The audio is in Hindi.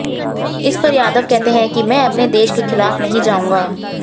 इस पर यादव कहते हैं कि मैं अपने देश के खिलाफ नहीं जाऊंगा